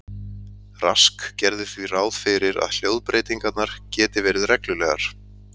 Rask gerði því ráð fyrir að hljóðbreytingar geti verið reglulegar.